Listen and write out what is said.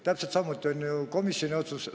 Täpselt samuti on ju komisjoni otsusega.